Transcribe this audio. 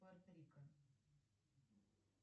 пуэрто рико